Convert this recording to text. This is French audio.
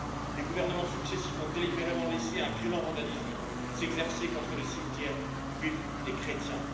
Les gouvernements successifs ont délibérément laissé un violent vandalisme s'exercer contre les cimetières juifs et chrétiens.